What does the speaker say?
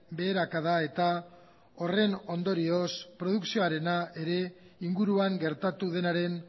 beherakada eta horren ondorioz produkzioarena ere inguruan gertatu denaren